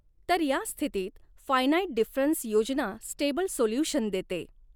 तर या स्थितीत फ़ायनाईट डिफ़रन्स योजना स्टेबल सोल्युशन देते.